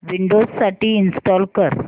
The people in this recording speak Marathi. विंडोझ साठी इंस्टॉल कर